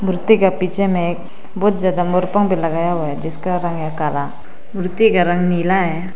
मूर्ति के पीछे में एक बहुत ज्यादा मोर पंख भी लगाया हुआ है जिसका रंग है काला मूर्ति का रंग नीला है।